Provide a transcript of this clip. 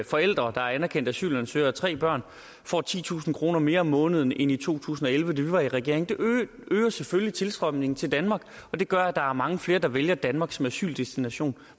forældre der er anerkendte asylansøgere og tre børn får titusind kroner mere om måneden end i to tusind og elleve da vi var i regering det øger selvfølgelig tilstrømningen til danmark det gør at der er mange flere der vælger danmark som asyldestination